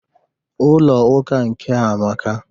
Ụlọ ụka nkea amaka